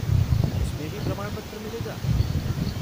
उसमें भी प्रमाणपत्र मिलेगा?